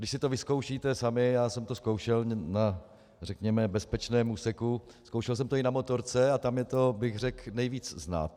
Když si to vyzkoušíte sami, já jsem to zkoušel na, řekněme, bezpečném úseku, zkoušel jsem to i na motorce a tam je to, řekl bych, nejvíc znát.